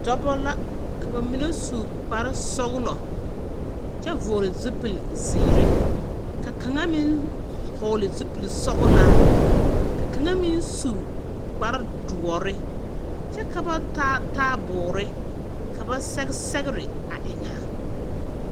Dͻbͻ la, ka ba mine su kpare sͻgelͻ kyԑ vͻgele zupili zeere ka kaŋa meŋ su vͻgele zupili sͻgelaa, ka kaŋa meŋ su kpare dõͻre kyԑ ka ba taa taaboore ka ba sge sԑgere a eŋa a.